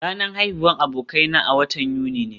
Ranar haihuwar abokaina a watan Yuni ne